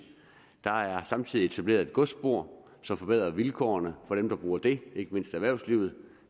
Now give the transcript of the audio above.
der er samtidig etableret et godsspor som forbedrer vilkårene for dem der bruger det ikke mindst erhvervslivet